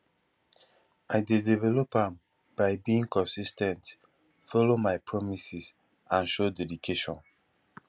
i dey develop am by being consis ten t follow my promises and show dedication